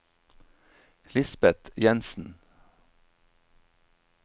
Lisbeth Jenssen